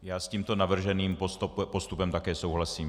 Já s tímto navrženým postupem také souhlasím.